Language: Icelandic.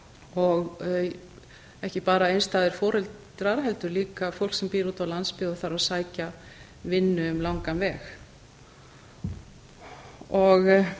og ekki bara einstæðir foreldrar heldur líka fólk sem býr úti á landsbyggð og þarf að sækja vinnu um langan veg